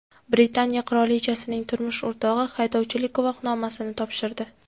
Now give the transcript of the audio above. Britaniya qirolichasining turmush o‘rtog‘i haydovchilik guvohnomasini topshirdi.